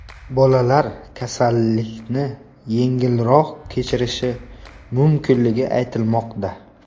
Bolalar kasallikni yengilroq kechirishi mumkinligi aytilmoqda.